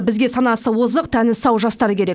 бізге санасы озық тәні сау жастар керек